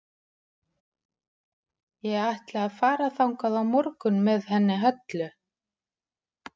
Ég ætla að fara þangað á morgun með henni Höllu.